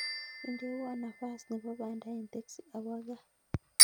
Indewon nafas nepo panda en teksi awo kaa